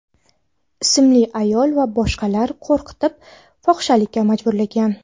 ismli ayol va boshqalar qo‘rqitib, fohishalikka majburlagan.